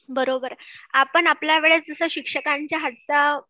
बरोबर, आपण आपल्या वेळेचे जसं शिक्षकांचा हातचा